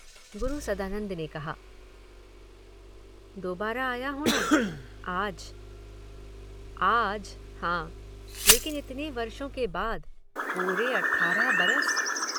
गुरु सदानंद ने कहा। दोबारा आया हूँ न। आज। आज, हां। लेकिन इतने वर्षों के बाद। पूरे अठारह बरस।